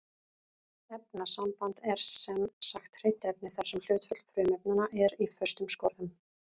Efnasamband er sem sagt hreint efni þar sem hlutföll frumefnanna er í föstum skorðum.